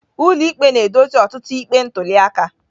Ụlọikpe na-edozi ọtụtụ ikpe ntuli aka.